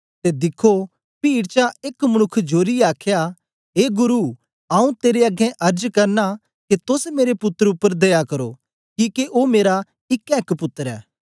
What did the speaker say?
ते दिखो पीड चा एक मनुक्ख जोरिऐ आखया ए गुरु आऊँ तेरे अगें अर्ज करना के तोस मेरे पुत्तर उपर दया करो किके ओ मेरा इकैएक पुत्तर ऐ